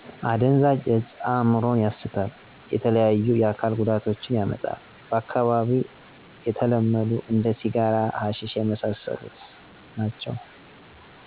አደንዛዥ እጽ እምሮን ያሰታል የተለያዩ የአካል ጎዳቶችን ያመጣል በአካባቢው የተለመዶ እንደ ሲጋራ ሀሸሺ የመሳስሎት ...